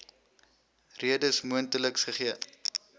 redes mondeliks gegee